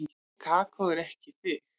Kókó en ekki þig.